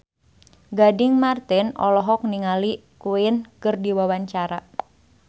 Gading Marten olohok ningali Queen keur diwawancara